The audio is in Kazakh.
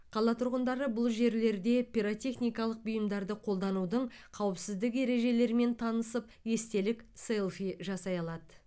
қала тұрғындары бұл жерлерде пиротехникалық бұйымдарды қолданудың қауіпсіздік ережелерімен танысып естелік селфи жасай алады